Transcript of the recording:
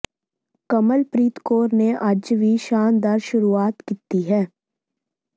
ਕਮਲਪ੍ਰੀਤ ਕੌਰ ਨੇ ਅੱਜ ਵੀ ਸ਼ਾਨਦਾਰ ਸ਼ੁਰੂਆਤ ਕੀਤੀ ਹੈ